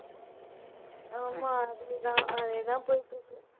ஆமா, அதே தான் அதே தான் போயிட்டு இருக்கு.